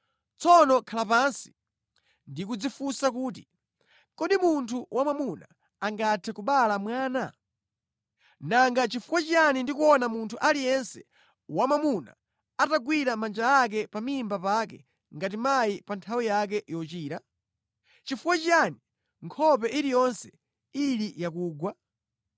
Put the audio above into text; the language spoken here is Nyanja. Tsono khalani pansi ndi kudzifunsa kuti: Kodi munthu wamwamuna angathe kubereka mwana? Nanga nʼchifukwa chiyani ndikuona munthu aliyense wamwamuna atagwira manja ake pa mimba pake ngati mayi pa nthawi yake yochira? Chifukwa chiyani nkhope iliyonse ili yakugwa?